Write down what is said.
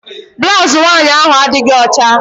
Blaụzụ nwaanyị ahụ adịghị ọcha.